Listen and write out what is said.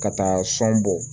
Ka taa sɔn bɔ